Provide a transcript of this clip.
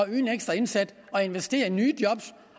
øge en ekstra indsats og investere i nye job